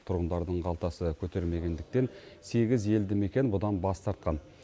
тұрғындардың қалтасы көтермегендіктен сегіз елді мекен бұдан бас тартқан